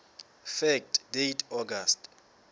fact date august